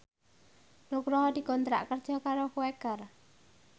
Nugroho dikontrak kerja karo Quaker